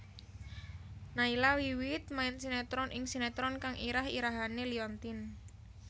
Nayla wiwit main sinetron ing sinetron kang irah irahané Liontin